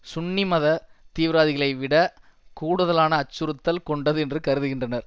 சுன்னி மத தீவிரவாதிகளைவிட கூடுதலான அச்சுறுத்தல் கொண்டது என்று கருதுகின்றனர்